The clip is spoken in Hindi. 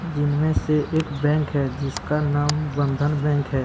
जिनमें से एक बैंक है जिसका नाम बंधन बैंक है।